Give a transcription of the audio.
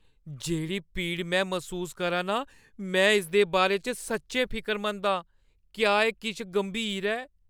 जेह्‌ड़ी पीड़ में मसूस करा नां, में इसदे बारे च सच्चैं फिकरमंद आं । क्या एह् किश गंभीर ऐ?